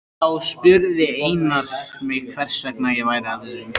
Þá spurði Einar mig hvers vegna ég væri að þessu.